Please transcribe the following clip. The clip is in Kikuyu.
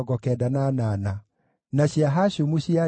na andũ a Nebo ĩrĩa ĩngĩ maarĩ 52